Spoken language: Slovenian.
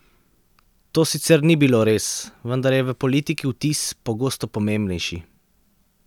To sicer ni bilo res, vendar je v politiki vtis pogosto pomembnejši.